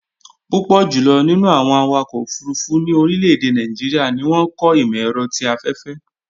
Púpọ̀ jùlọ̀ nínú àwọn awakọ̀ òfurufú ní orílẹ̀-èdè Nàìjíríà ni wọ́n kọ́ ìmọ̀-ẹ̀rọ ti afẹ́fẹ́